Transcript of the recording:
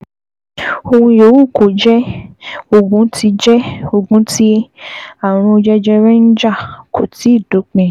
Ohun yòówù kó jẹ́, ogun tí jẹ́, ogun tí ààrùn jẹjẹrẹ ń jà kò tíì dópin